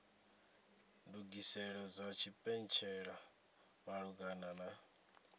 ndugiselo dza tshipentshela malugana na